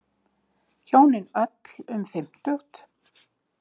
Hjónin öll um fimmtugt.